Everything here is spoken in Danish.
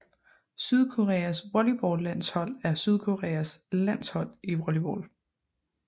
Sydkoreas volleyballlandshold er Sydkoreas landshold i volleyball